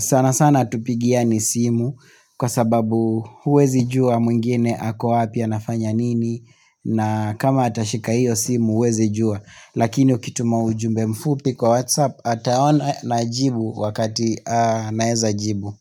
sana sana hatupigiani simu kwa sababu huwezi jua mwingine ako wapi anafanya nini na kama atashika hiyo simu huwezi jua Lakini ukituma ujumbe mfupi kwa Whatsapp Ataona na ajibu wakati anaeza jibu.